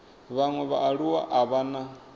vhaṅwe vhaaluwa a vha na